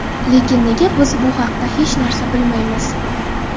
Lekin nega biz bu haqda hech narsa bilmaymiz?.